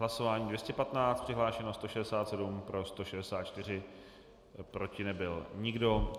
Hlasování 215, přihlášeno 167, pro 164, proti nebyl nikdo.